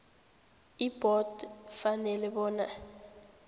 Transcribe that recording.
ibhodo ifanele bona